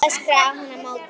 öskraði hún á móti.